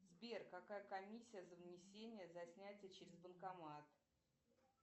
сбер какая комиссия за внесение за снятие через банкомат